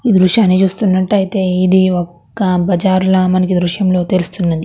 ఈ దృశ్యాన్ని చూసినట్టు అయితే ఈ ఇది ఒక బజారు ల మనకి ఈ దృశ్యంలో తెలుస్తున్నది.